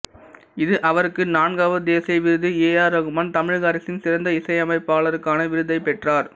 இது அவருக்கு நான்காவது தேசிய விருது ஏ ஆர் ரகுமான் தமிழக அரசின் சிறந்த இசைமைப்பாளருக்கான விருதைப் பெற்றார்